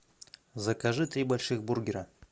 закажи три больших бургера